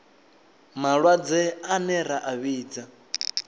malwadze ane ra a vhidza